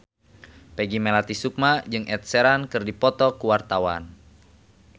Peggy Melati Sukma jeung Ed Sheeran keur dipoto ku wartawan